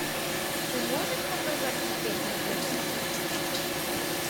ты можешь показать успех на тв